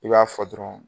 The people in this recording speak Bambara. I b'a fɔ dɔrɔn